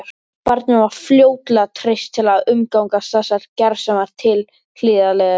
Barninu var fljótlega treyst til að umgangast þessar gersemar tilhlýðilega.